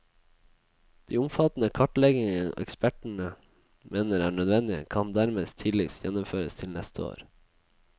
De omfattende kartleggingene ekspertene mener er nødvendige, kan dermed tidligst gjennomføres til neste år.